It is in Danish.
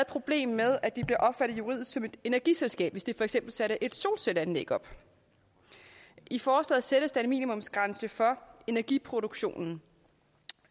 problem med at de bliver opfattet juridisk som et energiselskab hvis de for eksempel satte et solcelleanlæg op i forslaget sættes der en minimumsgrænse for energiproduktionen